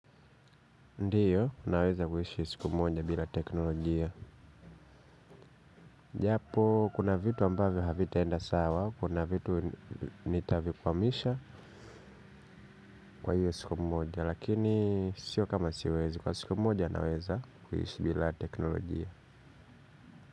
Ndiyo, naweza kuishi siku moja bila teknolojia. Japo, kuna vitu ambavyo havitaenda sawa, kuna vitu nitavifamisha kwa hiyo siku moja, lakini sio kama siwezi kwa siku moja naweza kuishi bila teknolojia.